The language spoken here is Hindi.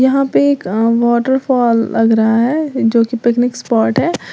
यहां पर वॉटरफॉल लग रहा है जो की पिकनिक स्पॉट है।